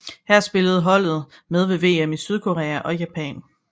Her spillede holdet med ved VM i Sydkorea og Japan